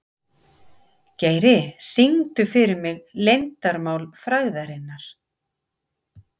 Geiri, syngdu fyrir mig „Leyndarmál frægðarinnar“.